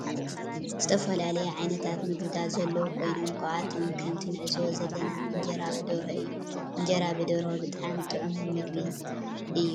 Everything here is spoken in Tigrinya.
ዝተፈላለዩ ዓይነታት ምግብታት ዘለው ኮይኖም ካብአቶም ከምቲ ንዕዞቦ ዘለና እንጀራ ብደርሆ እዩ ።እንጀራ ብደርሆ ብጣዕሚ ጥዑምን ምግቢ ።ንስካትኩም ከ ትፈትዎ ዶ?